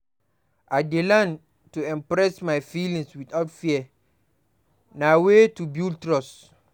I dey learn to express my feelings without fear; na way to build trust.